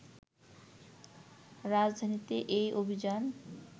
রাজধানীতে এ অভিযান